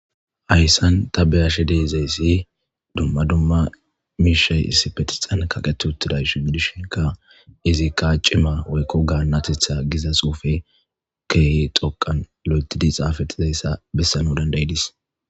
hayssan tabbe ashe deezayssi dumma dumma miishay issipetixan kaqeti uttidaysu gidishinka izi kaa cima woykko gaanatetha giza xuufe keehi xoqan lo7etidi xaafattizayssa bessana dandayidis